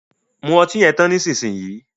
Mú ọtí yen tán nísìsiyìí!